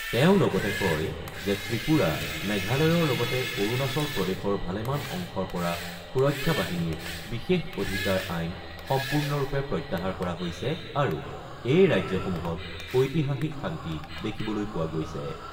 তেওঁ লগতে কয় যে ত্ৰিপুৰা, মেঘালয়ৰ লগতে অৰুণাচল প্ৰদেশৰ ভালেমান অংশৰ পৰা সুৰক্ষা বাহিনীৰ বিশেষ অধিকাৰ আইন সম্পূৰ্ণৰূপে প্ৰত্যাহাৰ কৰা হৈছে আৰু এই ৰাজ্যসমূহত ঐতিহাসিক শান্তি দেখিবলৈ পোৱা গৈছে।